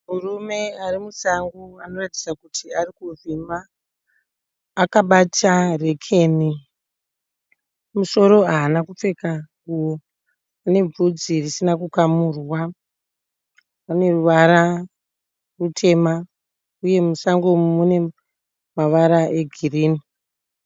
Murume arimusango anoratidza kuti arikuvhima akabata rekeni, kumusoro haana kupfeka nguwo. Ane bvudzi risina kukamurwa, une ruvara rutema uye musango umu mune mavara egirini.